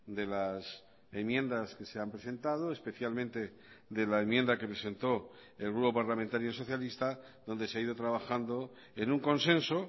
de las enmiendas que se han presentado especialmente de la enmienda que presentó el grupo parlamentario socialista donde se ha ido trabajando en un consenso